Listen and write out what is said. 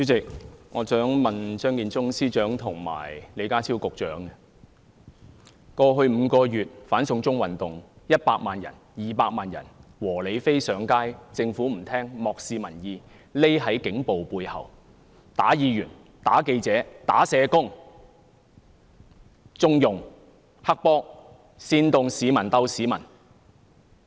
主席，我想問張建宗司長及李家超局長，過去5個月的"反送中運動"有100萬、200萬"和理非"上街，政府不聆聽，漠視民意，躲在警暴背後，毆打議員、毆打記者、毆打社工，縱容黑幫，煽動"市民鬥市民"。